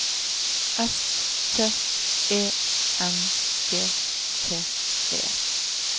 S T E N G T E